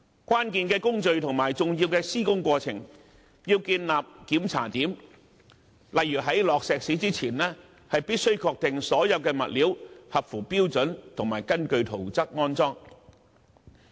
關鍵的工序及重要的施工過程必須建立檢查點，例如在注入混凝土前，必須確定所有物料合乎標準，並已根據圖則安裝。